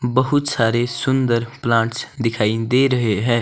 बहुत सारे सुंदर प्लांट्स दिखाई दे रहे है।